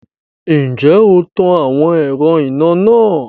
Ǹjẹ́ o to àwọn ẹ̀rọ iná náà?